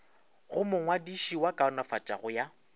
go mongwadiši wa kaonafatšo ya